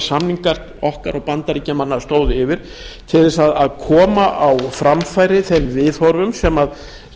samningar okkar og bandaríkjamanna stóðu yfir til þess að koma á framfæri þeim viðhorfum sem